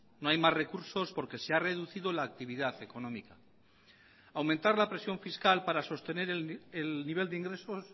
no hay más recursos porque se ha reducido la actividad económica aumentar la presión fiscal para sostener el nivel de ingresos